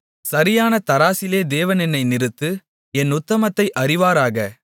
சரியான தராசிலே தேவன் என்னை நிறுத்து என் உத்தமத்தை அறிவாராக